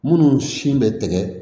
Minnu sin bɛ tigɛ